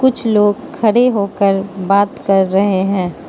कुछ लोग खड़े होकर बात कर रहे हैं।